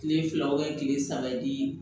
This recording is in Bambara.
Kile fila kile saba di